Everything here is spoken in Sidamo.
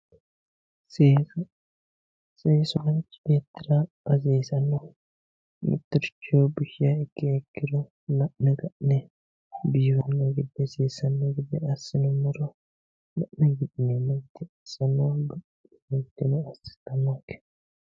seesa seesu manchi beettira hasiisanno mittoricho bushiha ikkiha ikkiro la'ne ka'ne biifanno gede seesanno gedeassinummoro la'ne ka'ne biifanno gede assinummo gede assannonke.